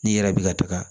N'i yɛrɛ bi ka to ka